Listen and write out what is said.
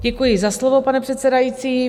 Děkuji za slovo, pane předsedající.